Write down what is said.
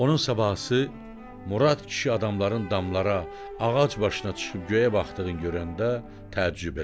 Onun sabahısı Murad kişi adamların damlara, ağac başına çıxıb göyə baxdığını görəndə təəccüb elədi.